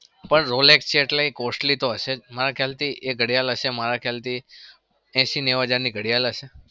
પણ rolex છે એટલે એ costly તો હશે જ મારા ખ્યાલથી એ ઘડિયાળ હશે મારા ખ્યાલથી એશી-નેવું હજારની ઘડિયાળ હશે.